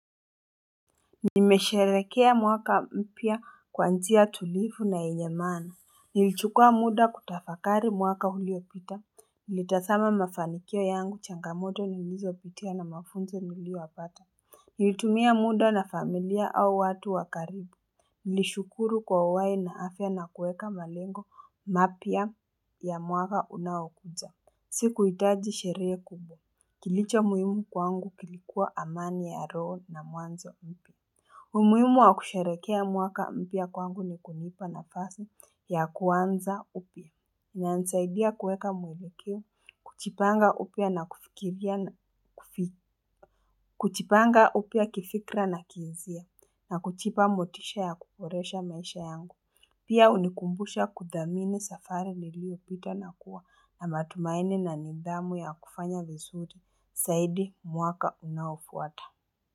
Nimesharekea mwaka mpya kwanzia tulifu na enyemana nilichukua muda kutafakari mwaka huliopita nilitasama mafanikio yangu changamoto nilizopitia na mafunzo niliowapata nilitumia muda na familia au watu wakaribu nilishukuru kwa uwai na afya na kueka malengo mapia ya mwaka unawakuja siku hitaji sheree kubo kilicho muhimu kwangu kilikuwa amani ya roo na muanzo mpi Umuimu wa kusharekea mwaka mpia kwangu ni kunipa na fasi ya kuwanza upia na nsaidia kuweka mwelekeo kuchipanga upia na kifikra na kizia na kuchipa mbotisha ya kukoresha maisha yangu. Pia unikumbusha kudhamini safari liliu pita na kuwa na matumaini na nidhamu ya kufanya vizuri saidi mwaka unaofuata.